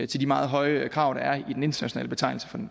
til de meget høje krav der er i den internationale betegnelse